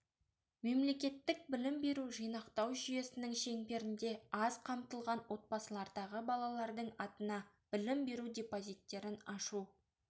мемлекеттік білім беру жинақтау жүйесінің шеңберінде аз қамтылған отбасылардағы балалардың атына білім беру депозиттерін ашу